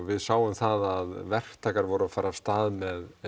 við sáum það að verktakar fóru af stað með